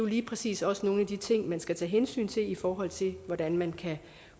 lige præcis også nogle af de ting man skal tage hensyn til i forhold til hvordan man kan